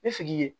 I sigi i ye